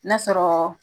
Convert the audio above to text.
N'a sɔrɔ